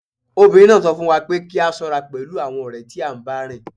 Obìnrin náà sọ fún wa pé kí a ṣọ́ra pẹ̀lú àwọn ọ̀rẹ́ tí à ń bá rìn